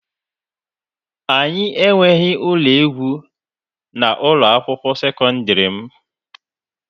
Anyị enweghị ụlọ egwu na ụlọ akwụkwọ sekọndrị m.